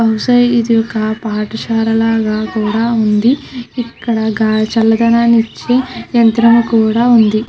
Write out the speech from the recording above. బహుశా ఇది ఒక పాఠశాలల గా కూడా ఉంది. ఇక్కడ గాలి చల్లదనాన్ని ఇచ్చే యంత్రం కూడా ఉంది.